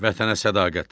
Vətənə sədaqət.